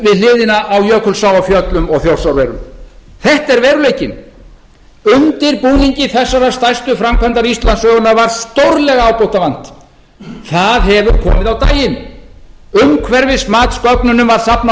hliðina á jökulsá á fjöllum og þjórsárverum þetta er veruleikinn undirbúningi þessarar stærstu framkvæmdar íslandssögunnar var stórlega ábótavant það hefur komið á daginn umhverfismatsgögnunum var safnað